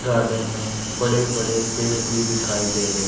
garden में बड़े बड़े पेड़ भी दिखाई दे रहे--